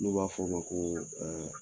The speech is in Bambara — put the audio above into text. N'u b'a fɔ o ma ko